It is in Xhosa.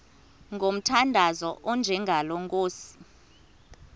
ngomthandazo onjengalo nkosi